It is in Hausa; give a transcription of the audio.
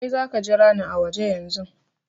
Kai, za ka jira ni a waje yanzun!